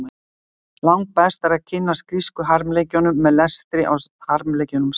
Langbest er að kynnast grísku harmleikjunum með lestri á harmleikjunum sjálfum.